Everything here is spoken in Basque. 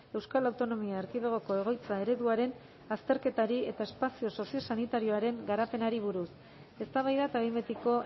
euskal autonomia erkidegoko egoitza ereduaren azterketari eta espazio soziosanitarioaren garapenari buruz eztabaida eta behin betiko